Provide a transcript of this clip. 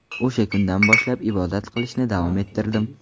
O‘sha kundan boshlab ibodat qilishni davom ettirdim.